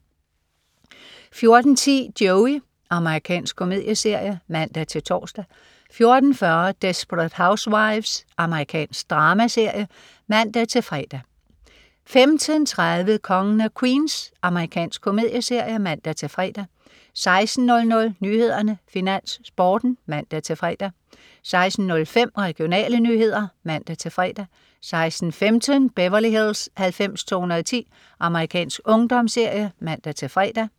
14.10 Joey. Amerikansk komedieserie (man-tors) 14.40 Desperate Housewives. Amerikansk dramaserie (man-fre) 15.30 Kongen af Queens. Amerikansk komedieserie (man-fre) 16.00 Nyhederne, Finans, Sporten (man-fre) 16.05 Regionale nyheder (man-fre) 16.15 Beverly Hills 90210. Amerikansk ungdomsserie (man-fre)